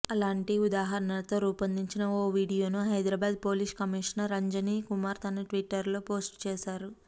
అలాంటి ఉదాహరణతో రూపొందించిన ఓ వీడియోను హైదరాబాద్ పోలీస్ కమిషనర్ అంజనీ కుమార్ తన ట్విట్టర్లో పోస్ట్ చేశారు